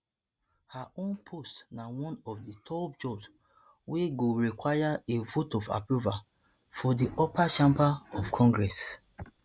her own post na one of di top jobs wey go require a vote of approval for di upper chamber of congress